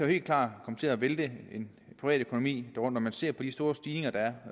helt klart komme til at vælte en privatøkonomi når man ser på de store stigninger der er